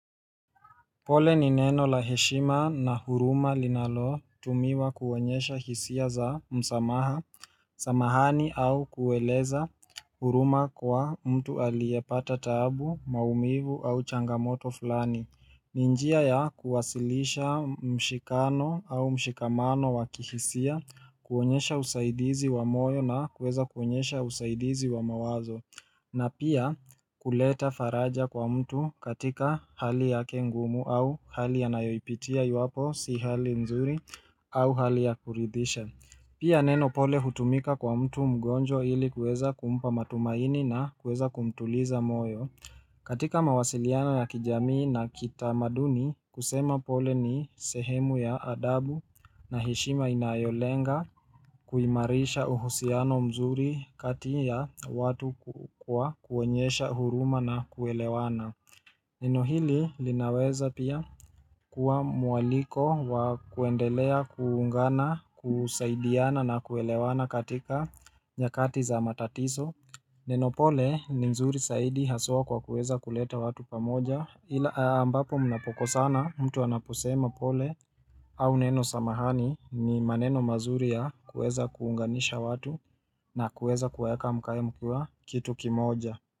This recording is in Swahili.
Pole ni neno la heshima na huruma linalotumiwa kuonyesha hisia za msamaha, samahani au kueleza huruma kwa mtu aliyepata taabu, maumivu au changamoto fulani. Ni njia ya kuwasilisha mshikano au mshikamano wa kihisia, kuonyesha usaidizi wa moyo na kuweza kuonyesha usaidizi wa mawazo. Na pia kuleta faraja kwa mtu katika hali yake ngumu au hali anayoipitia iwapo si hali mzuri au hali ya kuridhisha Pia neno pole hutumika kwa mtu mgonjo ili kueza kumpa matumaini na kueza kumtuliza moyo katika mawasiliano ya kijamii na kitamaduni kusema pole ni sehemu ya adabu na heshima inayolenga kuimarisha uhusiano mzuri kati ya watu kukua kuonyesha huruma na kuelewana Nino hili linaweza pia kuwa mwaliko wa kuendelea kuungana kusaidiana na kuelewana katika nyakati za matatizo Neno pole ni mzuri zaidi haswaa kwa kuweza kuleta watu pamoja ila ambapo mnapokosana mtu anaposema pole au neno samahani ni maneno mazuri ya kuweza kuunganisha watu na kuweza kuweka mkaya mkiwa kitu kimoja.